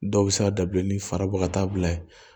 Dɔw bɛ se ka dabila ni farabɔ ka taa bila ye